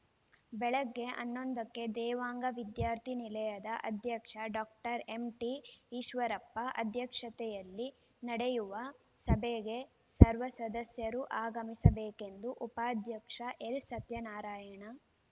ಬೆಳಗ್ಗೆ ಹನ್ನೊಂದಕ್ಕೆ ದೇವಾಂಗ ವಿದ್ಯಾರ್ಥಿ ನಿಲಯದ ಅಧ್ಯಕ್ಷ ಡಾಕ್ಟರ್ ಎಂಟಿಈಶ್ವರಪ್ಪ ಅಧ್ಯಕ್ಷತೆಯಲ್ಲಿ ನಡೆಯುವ ಸಭೆಗೆ ಸರ್ವ ಸದಸ್ಯರು ಆಗಮಿಸಬೇಕೆಂದು ಉಪಾಧ್ಯಕ್ಷ ಎಲ್‌ಸತ್ಯನಾರಾಯಣ